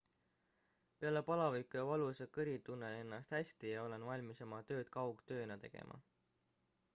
"""peale palaviku ja valusa kõri tunnen ennast hästi ja olen valmis oma tööd kaugtööna tegema.